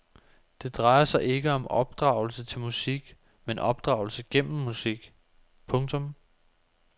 Det drejer sig ikke om opdragelse til musik men opdragelse gennem musik. punktum